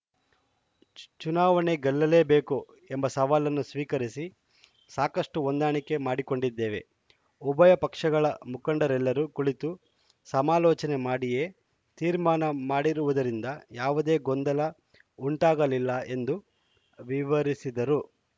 ಚುನಾವಣೆ ಗೆಲ್ಲಲೇಬೇಕು ಎಂಬ ಸವಾಲನ್ನು ಸ್ವೀಕರಿಸಿ ಸಾಕಷ್ಟುಹೊಂದಾಣಿಕೆ ಮಾಡಿಕೊಂಡಿದ್ದೇವೆ ಉಭಯ ಪಕ್ಷಗಳ ಮುಖಂಡರೆಲ್ಲರೂ ಕುಳಿತು ಸಮಾಲೋಚನೆ ಮಾಡಿಯೇ ತೀರ್ಮಾನ ಮಾಡಿರುವುದರಿಂದ ಯಾವುದೇ ಗೊಂದಲ ಉಂಟಾಗಲಿಲ್ಲ ಎಂದು ವಿವರಿಸಿದರು